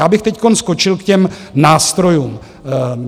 Já bych teď skočil k těm nástrojům.